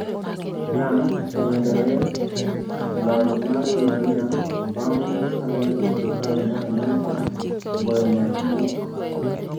Iran osemedore e lony mar uranium bang' kane sirkal mar Amerka ogoyo marfuk